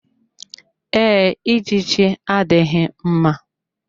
Ee, ijiji adịghị mma.